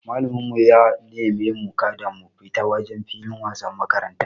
Malamin mu ya neme mu kada mu fita wajen filin wasan makaranta.